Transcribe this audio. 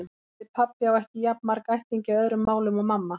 Orðið pabbi á ekki jafn marga ættingja í öðrum málum og mamma.